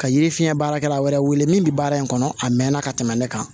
Ka yiri fiɲɛ baarakɛla wɛrɛ wele min bi baara in kɔnɔ a mɛnna ka tɛmɛ ne kan